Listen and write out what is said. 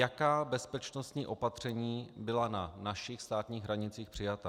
Jaká bezpečnostní opatření byla na našich státních hranicích přijata?